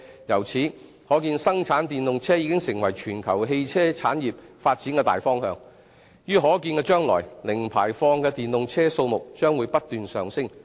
由此可見，生產電動車已成為全球汽車產業發展的大方向，於可見的將來，零排放的電動車數目將會不斷上升。